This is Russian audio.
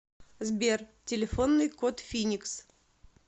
сбер телефонный код финикс